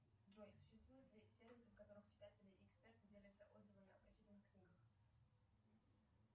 джой существуют ли сервисы в которых читатели и эксперты делятся отзывами о прочитанных книгах